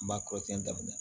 N b'a kɔrɔsiyɛn daminɛ